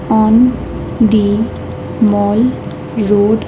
On the mall road.